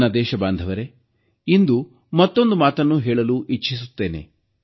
ನಾನು ದೇಶಬಾಂಧವರೇ ಇಂದು ಮತ್ತೊಂದು ಮಾತನ್ನೂ ಹೇಳಲು ಇಚ್ಛಿಸುತ್ತೇನೆ